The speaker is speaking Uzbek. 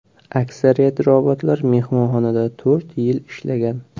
Aksariyat robotlar mehmonxonada to‘rt yil ishlagan.